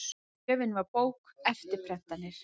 Gjöfin var bók, eftirprentanir